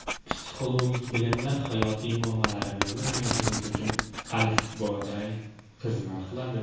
Psixologik bilimlar hayotiy muammolarimizni anglashimiz uchun alifboday xizmat qiladi.